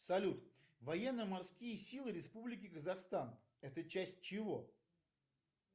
салют военно морские силы республики казахстан это часть чего